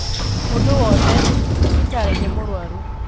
Mūndū wothe thibitarī nī mūrwaru